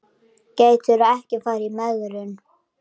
Gætirðu ekki farið í megrun?